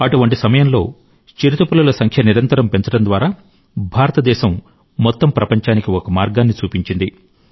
అటువంటి సమయంలో చిరుతపులుల జనాభాను నిరంతరం పెంచడం ద్వారా భారతదేశం మొత్తం ప్రపంచానికి ఒక మార్గాన్ని చూపించింది